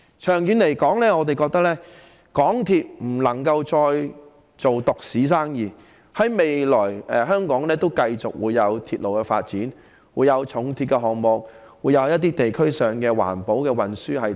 長遠來說，港鐵不能再做獨市生意，在未來，香港仍會有鐵路發展，有重鐵的項目和地區上的環保運輸等。